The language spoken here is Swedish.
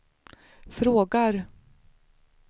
frågar